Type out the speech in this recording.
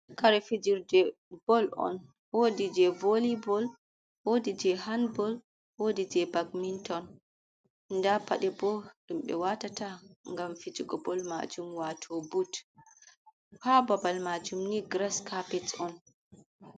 Kare fijirde bol on, wodi jei voly bol, wodi jei hanbol, wodi jei badminton. Nda paɗe bo ɗum ɓe watata ngam fijugo bol majum wato bud. Ha babal majum ni grass kapet on.